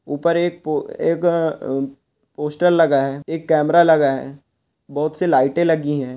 ऊपर एक पो एक अ पोस्टर लगा है एक कैमरा लगा है बहुत सी लाइटे लगी है।